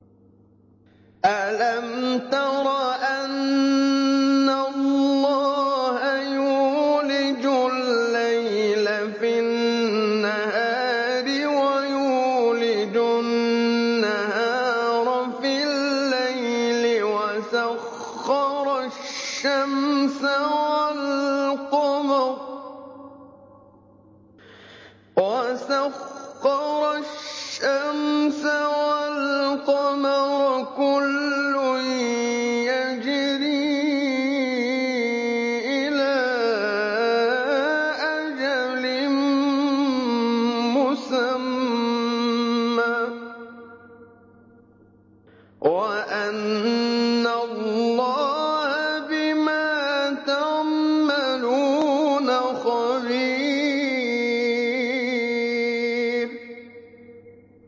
أَلَمْ تَرَ أَنَّ اللَّهَ يُولِجُ اللَّيْلَ فِي النَّهَارِ وَيُولِجُ النَّهَارَ فِي اللَّيْلِ وَسَخَّرَ الشَّمْسَ وَالْقَمَرَ كُلٌّ يَجْرِي إِلَىٰ أَجَلٍ مُّسَمًّى وَأَنَّ اللَّهَ بِمَا تَعْمَلُونَ خَبِيرٌ